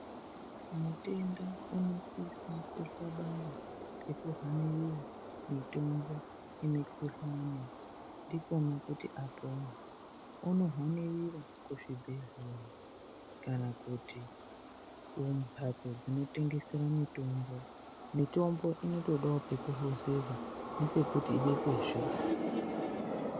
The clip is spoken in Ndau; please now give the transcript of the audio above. Mutenda unosisa kukabanga ngekuhanira mutombo yemukhuhlani ndikwona kuti apone unohanirira kuzvibhedhlera kana kuti kumhatso dzinotengesere mutombo mutombo inotodawo pekuhluzirwa nepekuti ibekwezve.